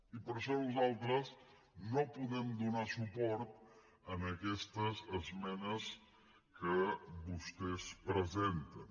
i per això nosaltres no podem donar suport a aquestes esmenes que vostès presenten